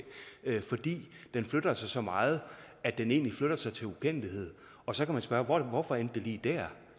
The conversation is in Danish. fordi den flytter sig så meget at den egentlig flytter sig til ukendelighed og så kan man spørge hvorfor endte det lige der